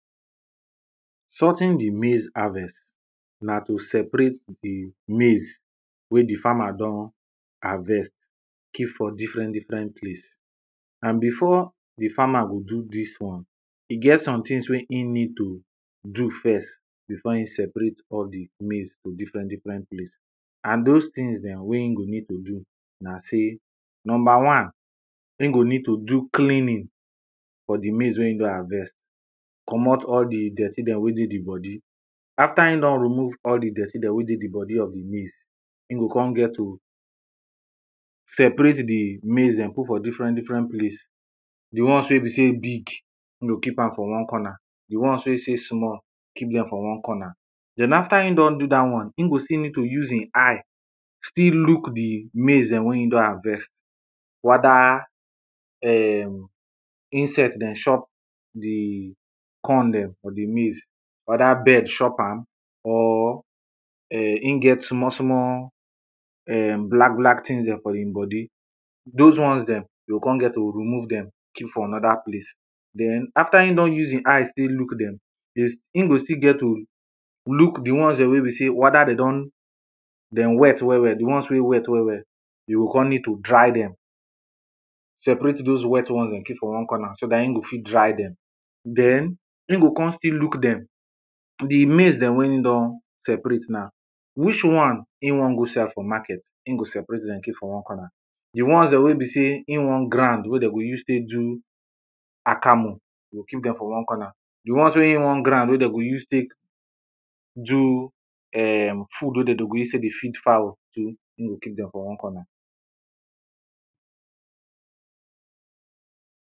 sorting the maize harvest na to separate the maize wey di farmer don harvest keep for different different place and before de farmer go do dis one e get somethings wey him need to do first before him separate all di maize to different different place and those things dem wey him go need to do na say number one him go need to do cleaning for de maize wey him don harvest comot all di dirty dem wey dey di body after him don remove all di dirty dem wey dey di body of de maize him go come get to separate de maize dem put for different different place di ones wey be say e big e go keep am for one corner de ones wey say e small keep dem for one corner den after him don do dat one him go still need to use him eye still look di maize dem wey him don harvest whether insect dem chop de corn dem or di maize whether bird chop am or um him get small small um black black things dem for im body those ones dem dey go come get to remove dem keep for another place den after him don use him eye take look dem him go still get to look di ones dem wey be say whether dey don dem wet well well de ones wey wet well well dey go come need to dry dem separate those wet ones dem keep for one corner so dat him go fit dry dem den him go come still look dem di maize dem wey him don separate now which one him wan go sell for market him go separate dem keep for one corner de ones dem wey be sey him wan grind wey dey go use take do akamu e go keep dem for one corner de ones wey him wan grind wey dey go use take do um food wey dem go use take dey feed fowl him go keep dem for one corner